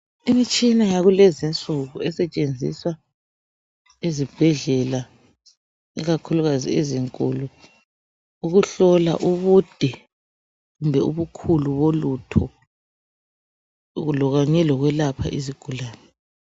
Imtshina yakulezinsuku esetshenziswa ezibhedlela ikakhulukazi ezinkulu ukuhlola ubude kumbe ubukhulu bolutho kanye lokwelapha izigulani.